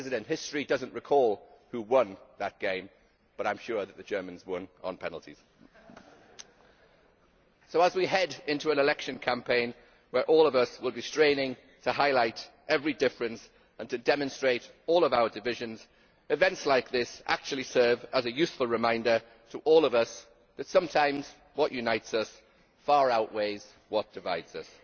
History does not recall who won that game, but I am sure the Germans won on penalties! As we head into an election campaign where all of us will be straining to highlight every difference and to demonstrate all of our divisions, events like this actually serve as a useful reminder to all of us that sometimes what unites us far outweighs what divides us.